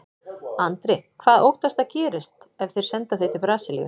Andri: Hvað óttastu að gerist ef þeir senda þig til Brasilíu?